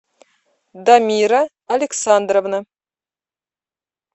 дамира александровна